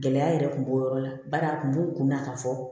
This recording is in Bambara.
Gɛlɛya yɛrɛ kun b'o yɔrɔ la bari a kun b'u kun na ka fɔ